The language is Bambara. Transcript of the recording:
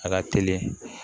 A ka teli